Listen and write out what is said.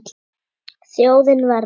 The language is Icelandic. Þjóðin verður.